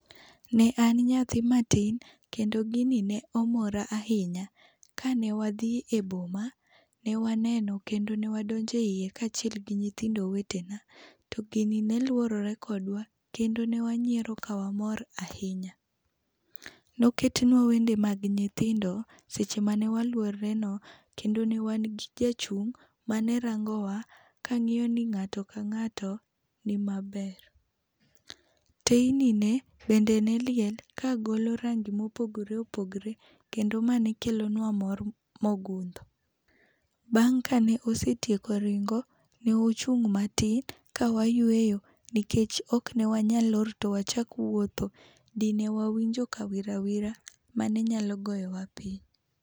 Ne an nyathi matin kendo gi ne omora ahinya, ka ne wadhi e boma ne waneno kendo ne wadonjo e iye kaachiel gi nyithindo wetena to gini ne luorore kodwa kendo ne wanyiero ka wamor ahinya. Noket nwa wende mag nyithindo seche ma waluororeno kendo ne wan gi jachung' ma ne rangowa ka ng'iyo ni ng'ato ka ng'ato ni maber. Teyni ne bende ne liel ka golo rangi ma opogore opogore kendo ma ne kelo nwa mor mo ogundho bang ka ne osetieko ringo, ne wachung matin ka wayueyoo nikech ok ne wanyal lor to wachak wuotho dine wawinjo kawirawira ma ne nyalo goyo wa piny.